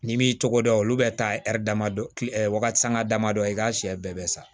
N'i m'i tɔgɔ dɔn olu bɛ taa ɛri dɔ ki wagatisanga damadɔ i k'a siyɛ bɛɛ bɛ sa